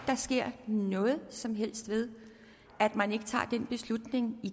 der sker noget som helst ved at man ikke tager den beslutning i